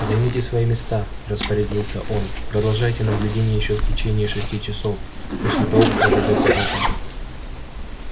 займите свои места распорядился он продолжайте наблюдение ещё в течение шести часов после того как разойдётся толпа